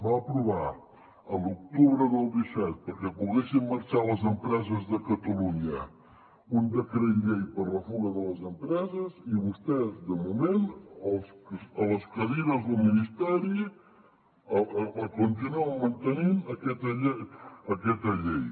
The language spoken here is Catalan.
va aprovar a l’octubre del disset perquè poguessin marxar les empreses de catalunya un decret llei per a la fuga de les empreses i vostès de moment a les cadires del ministeri la continuen mantenint aquesta llei